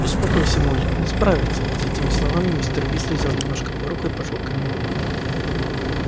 успокойся молли он справится с этими словами мистер уизли взял немножко пороху и пошёл к камину